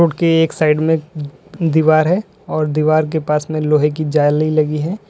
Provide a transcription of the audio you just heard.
के एक साइड में दीवार है और दीवार के पास में लोहे की जाली लगी है।